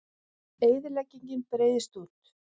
Eyðileggingin breiðist út